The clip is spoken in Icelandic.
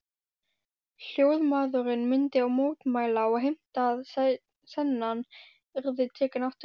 Hljóðmaðurinn myndi mótmæla og heimta að senan yrði tekin aftur.